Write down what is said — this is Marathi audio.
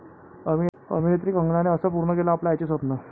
अभिनेत्री कंगनाने 'असं' पूर्ण केलं आपल्या आईचं स्वप्न